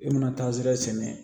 I mana taazera sɛnɛ